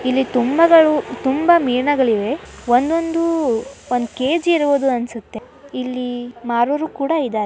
ಇಲ್ಲಿ ತುಂಬಾಗಳು ತುಂಬಾ ಮೀನುಗಳು ಇದೆ ಒಂದೊಂದು ಒಂದ್ ಕೆಜಿ ಇರುವುದು ಅನ್ಸುತ್ತೆ ಇಲ್ಲಿ ಮಾರುವವರು ಕೂಡ ಇದ್ದಾರೆ.